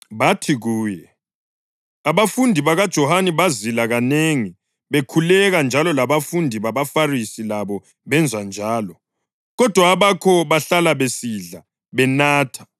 Bathi kuye, “Abafundi bakaJohane bazila kanengi bekhuleka njalo labafundi babaFarisi labo benza njalo, kodwa abakho bahlala besidla, benatha.”